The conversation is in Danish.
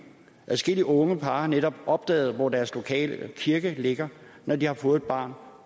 adskillige unge par har netop opdaget hvor deres lokale kirke ligger når de har fået et barn